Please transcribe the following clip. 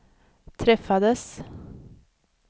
träffades